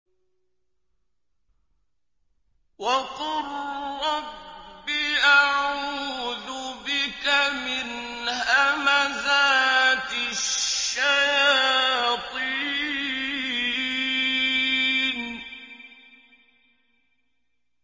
وَقُل رَّبِّ أَعُوذُ بِكَ مِنْ هَمَزَاتِ الشَّيَاطِينِ